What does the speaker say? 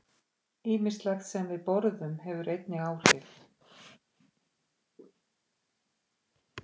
Ýmislegt sem við borðum hefur einnig áhrif.